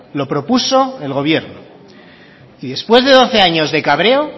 lo propuso el gobierno y después de doce años de cabreo